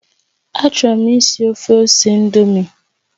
Achọrọ m ìsì ofe ose ị̀ndómị́